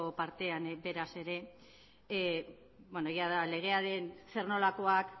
partean beraz ere bueno jada legearen zer nolakoak